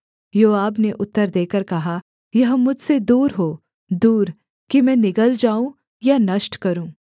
योआब ने उत्तर देकर कहा यह मुझसे दूर हो दूर कि मैं निगल जाऊँ या नष्ट करूँ